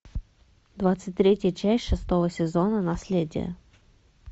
двадцать третья часть шестого сезона наследие